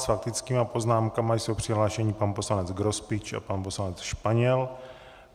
S faktickými poznámkami jsou přihlášeni pan poslanec Grospič a pan poslanec Španěl.